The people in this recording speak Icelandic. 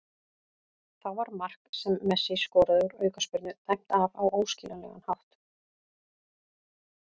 Þá var mark sem Messi skoraði úr aukaspyrnu dæmt af á óskiljanlegan hátt.